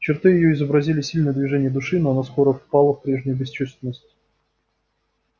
черты её изобразили сильное движение души но она скоро впала в прежнюю бесчувственность